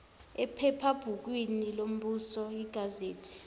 ephephabhukwini lombuso igazethi